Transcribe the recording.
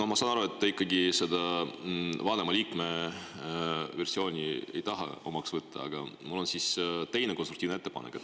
Ma saan aru, et te ikkagi seda vanema liikme versiooni ei taha omaks võtta, aga mul on teine konstruktiivne ettepanek.